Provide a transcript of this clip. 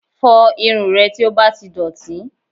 Fọ irun rẹ tí ó bá ti dọ̀tí